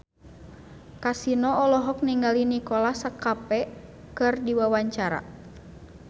Kasino olohok ningali Nicholas Cafe keur diwawancara